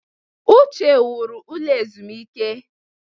Uche wuru ụlọ ezumike.